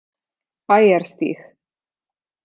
Bæjarstíg